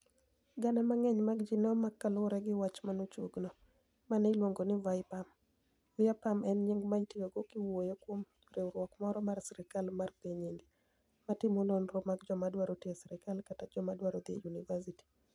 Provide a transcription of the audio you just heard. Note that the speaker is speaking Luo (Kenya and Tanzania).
Gania manig'eniy mag ji ni e omak kaluwore gi wach mochuogno, ma ni e oluonig nii Vyapam. Vyapam eni niyinig ma itiyogo kiwuoyo kuom riwruok moro mar sirkal mar piniy Inidia, matimo noniro mag joma dwaro tiyo e sirkal kata joma dwaro dhi e yuniivasiti.